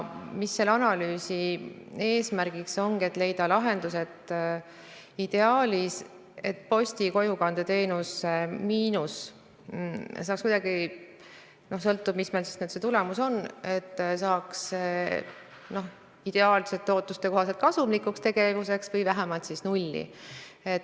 Selle analüüsi eesmärgiks ongi leida lahendus, kuidas posti kojukandeteenuse miinus saaks – sõltub sellest, millised meie analüüsitulemused on – ideaalsete ootuste kohaselt kasumlikuks tegevuseks pööratud või vähemalt nulli viidud.